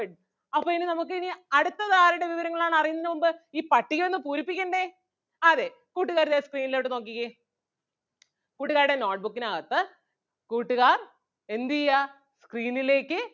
അപ്പം ഇനി നമുക്ക് ഇനി അടുത്തത് ആരുടെ വിവരങ്ങൾ ആണ് അറിയുന്നതിന് മുൻപ് ഈ പട്ടിക ഒന്ന് പൂരിപ്പിക്കണ്ടേ അതേ കൂട്ടുകാരെല്ലാം screen ലോട്ട് നോക്കിക്കേ കൂട്ടുകാരുടെ note book നകത്ത് കൂട്ടുകാർ എന്ത് ചെയ്യ screen ലേക്ക്